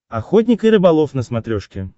охотник и рыболов на смотрешке